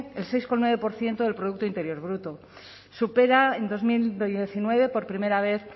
el seis coma nueve por ciento del producto interior bruto supera en dos mil diecinueve por primera vez